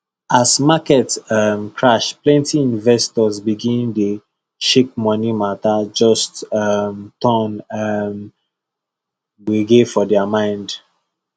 as market um crash plenty investors begin dey shakemoney matter just um turn um gbege for their mind